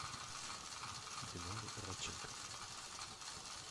динары радченко